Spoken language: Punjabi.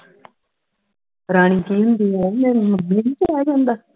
ਰਾਣੀ ਕਿ ਹੁੰਦੀ ਹੈ ਕੇ ਰਹਿ ਜਾਂਦਾ